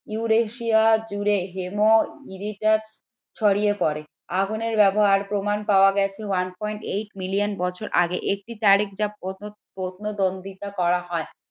Eurasia জুড়ে ছড়িয়ে পড়ে আগুনের ব্যবহার প্রমাণ পাওয়া গেছে one point eight million বছর আগে একটি তারিখ যা প্রত্ন প্রত্ন দন্দীতা করা হয়